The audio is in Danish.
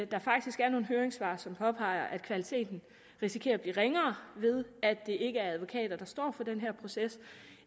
der faktisk er nogle høringssvar som påpeger at kvaliteten risikerer at blive ringere ved at det ikke er advokater der står for den her proces